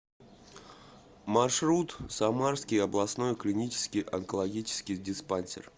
маршрут самарский областной клинический онкологический диспансер